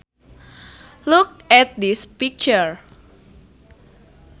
Look at this picture